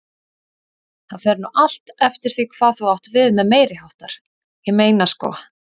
Það fer nú allt eftir því hvað þú átt við með meiriháttar, ég meina sko.